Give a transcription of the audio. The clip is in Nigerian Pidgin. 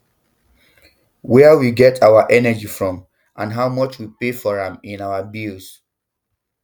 wia we get our energy from and how much we pay for am in our bills